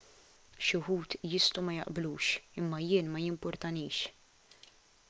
xi wħud jistgħu ma jaqblux imma jien ma jimpurtanix